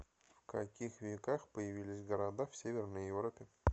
в каких веках появились города в северной европе